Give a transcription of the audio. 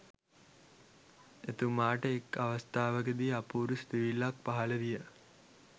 එතුමාට එක් අවස්ථාවක දී අපූරු සිතිවිල්ලක් පහළ විය.